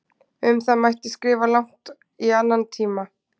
Um það mætti skrifa langt mál í annan tíma.